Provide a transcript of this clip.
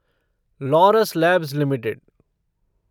Laurus Labs limited